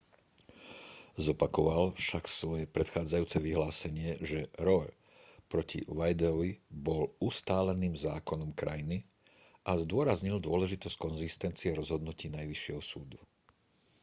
zopakoval však svoje predchádzajúce vyhlásenie že roe proti wadeovi bol ustáleným zákonom krajiny a zdôraznil dôležitosť konzistencie rozhodnutí najvyššieho súdu